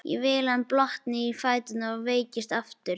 Ekki vill hann blotna í fæturna og veikjast aftur.